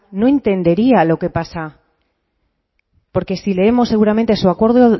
no entendería lo que pasa porque si leemos seguramente en su acuerdo